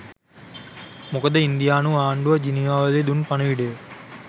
මොකද ඉන්දියානු ආණ්ඩුව ජිනීවාවලදී දුන් පණිවිඩය